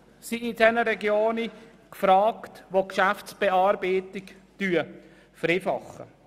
Auch wären in diesen Regionen Ortskenntnisse gefragt, die die Geschäftsbearbeitung vereinfachen würden.